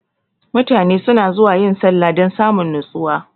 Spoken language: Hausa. mutane suna zuwa yin sallah dan samun nustuwa.